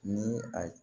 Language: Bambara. Ni a